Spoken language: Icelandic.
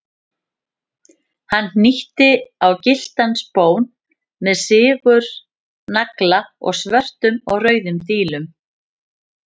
Hann hnýtti á gylltan spón með sigurnagla og svörtum og rauðum dílum.